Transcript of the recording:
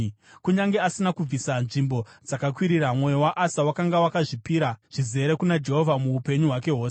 Kunyange asina kubvisa nzvimbo dzakakwirira, mwoyo waAsa wakanga wakazvipira zvizere kuna Jehovha muupenyu hwake hwose.